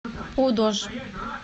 пудож